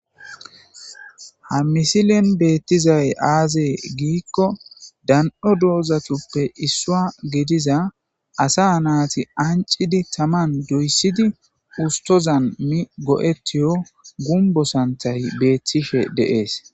ha misilen beettizay aazee giikko dan'o dozatuppe issuwa gediza asa naati ancidi taman doyssidi ustozan migo'ettiyo gumbo santhay beettishe de'es.